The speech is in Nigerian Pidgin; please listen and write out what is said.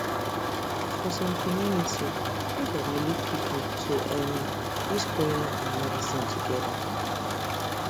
for some community media dey lead people to um use prayer and medicine together